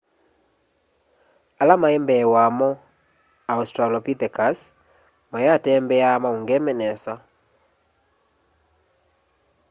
ala maimbee wamo australopithecus wayatembeaa maungeme nesa